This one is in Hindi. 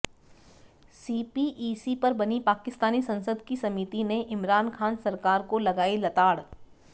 सीपीईसी पर बनी पाकिस्तानी संसद की समिति ने इमरान खान सरकार को लगाई लताड़